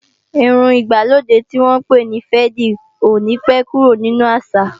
Irun ìgbàlódé tí wọ́n pè ní féèdì ò ní pé kúrò nínu àṣà